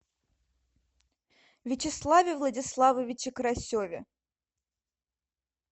вячеславе владиславовиче карасеве